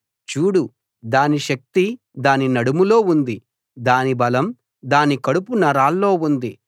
చూడు దాని శక్తి దాని నడుములో ఉంది దాని బలం దాని కడుపు నరాల్లో ఉంది